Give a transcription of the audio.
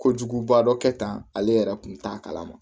Kojuguba dɔ kɛtan ale yɛrɛ kun t'a kalama